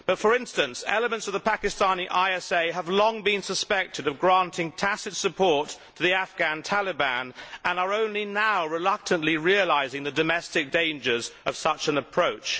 But, for instance, elements of the Pakistani ISA have long been suspected of granting tacit support to the Afghan Taliban and are only now reluctantly realising the domestic dangers of such an approach.